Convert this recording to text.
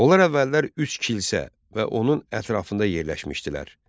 Onlar əvvəllər üç kilsə və onun ətrafında yerləşmişdilər.